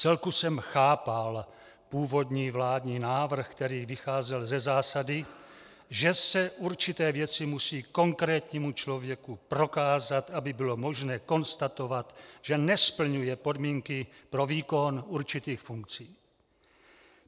Vcelku jsem chápal původní vládní návrh, který vycházel ze zásady, že se určité věci musí konkrétnímu člověku prokázat, aby bylo možné konstatovat, že nesplňuje podmínky pro výkon určitých funkcí.